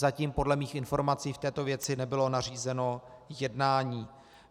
Zatím podle mých informací v této věci nebylo nařízeno jednání.